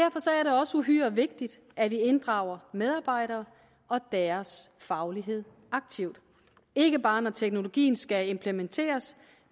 også uhyre vigtigt at vi inddrager medarbejdere og deres faglighed aktivt ikke bare når teknologien skal implementeres